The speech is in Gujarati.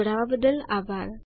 જોડાવા બદ્દલ આભાર